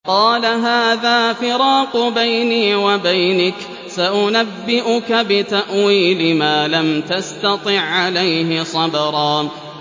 قَالَ هَٰذَا فِرَاقُ بَيْنِي وَبَيْنِكَ ۚ سَأُنَبِّئُكَ بِتَأْوِيلِ مَا لَمْ تَسْتَطِع عَّلَيْهِ صَبْرًا